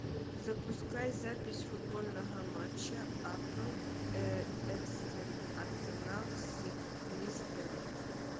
запускай запись футбольного матча апл арсенал с лестером